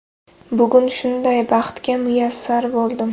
Bugun shunday baxtga muyassar bo‘ldim.